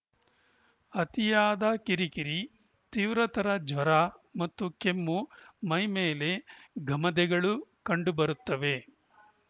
ಅತಿಯಾದ ಕಿರಿಕಿರಿ ತೀವ್ರತರ ಜ್ವರ ಮತ್ತು ಕೆಮ್ಮು ಮೈಮೇಲೆ ಗಮಧೆಗಳು ಕಂಡು ಬರುತ್ತವೆ